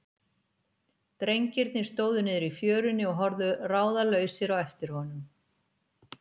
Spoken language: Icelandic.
Drengirnir stóðu niðri í fjörunni og horfðu ráðalausir á eftir honum.